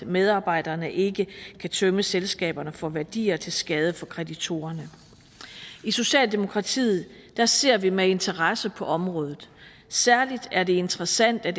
medarbejderne ikke kan tømme selskaberne for værdier til skade for kreditorerne i socialdemokratiet ser ser vi med interesse på området særligt er det interessant at